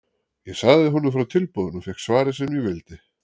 Ég sagði honum frá tilboðinu og fékk svarið sem ég vildi.